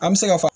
An bɛ se ka fɔ